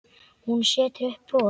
Hún setur upp bros.